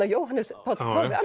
Jóhannes Páll páfi